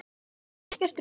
Ekkert rugl.